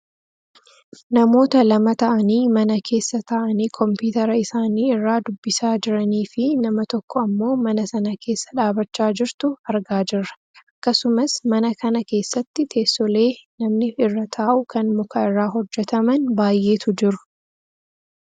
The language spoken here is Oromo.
namoota lama ta'anii mana keessa taa'anii kompiitera isaanii irraa dubbisaa jiranii fi nama tokko ammoo mana sana keessa dhaabbachaa jirtu argaa jirra. akkasumas mana kana keessatti teessoolee namni irra taa'u kan muka irraa hojjataman baayyeetu jiru.